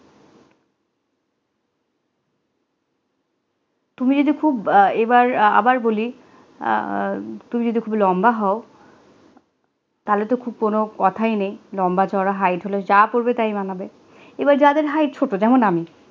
তুমি এটা খুব ভাইবার আবার বলি তুই যদি খুব লম্বা হও তাহলে তো খুব কোন কথাই নেই লম্বা-চওড়া height জা পড়বে তাই মানাবে এবার যাদের height হবে যেমন আমি